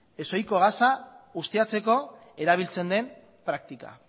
ez oizko gasa ustiatzeko erabiltzen den praktika